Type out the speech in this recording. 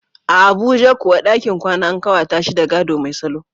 A Abuja kuwa, dakin kwana an kawata shi da gado mai salo.